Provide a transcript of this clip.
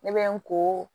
Ne bɛ n ko